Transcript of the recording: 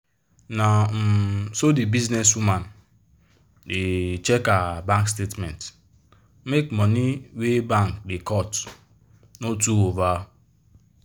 na um so the business woman da check her bank statement make money wey bank da cut no too over